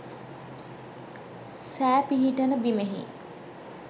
සෑ පිහිටන බිමෙහි